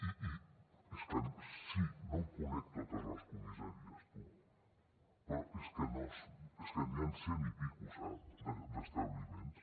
i és que sí no em conec totes les comissaries tu però és que n’hi han cent i escaig sap d’establiments